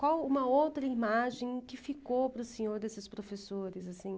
Qual uma outra imagem que ficou para o senhor desses professores? Assim...